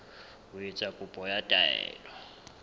ho etsa kopo ya taelo